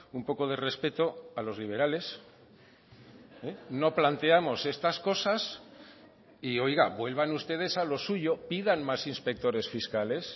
un poco de respeto a los liberales no planteamos estas cosas y oiga vuelvan ustedes a lo suyo pidan más inspectores fiscales